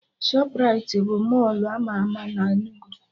Shọprait bụ Mọlụ ama ama na Enugu